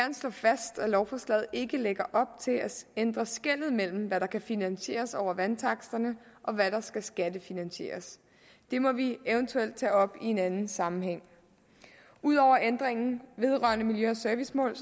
slå fast at lovforslaget ikke lægger op til at ændre skellet mellem hvad der kan finansieres over vandtaksterne og hvad der skal skattefinansieres det må vi eventuelt tage op i en anden sammenhæng ud over ændringen vedrørende miljø og servicemål